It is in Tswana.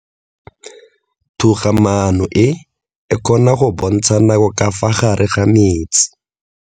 Toga-maano e, e kgona go bontsha nako ka fa gare ga metsi.